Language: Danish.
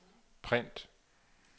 print